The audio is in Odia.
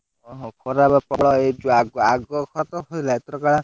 ଖରା ରେ ପଳାଅ